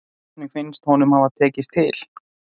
Hvernig finnst honum það hafa tekist til?